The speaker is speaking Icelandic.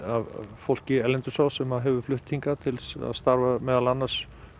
fólki erlendis frá sem hefur flutt hingað til að starfa meðal annars